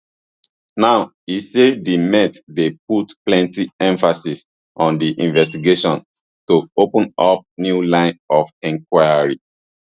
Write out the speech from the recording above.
now e say di met dey put plenti emphasis on di investigation to open up new lines of enquiry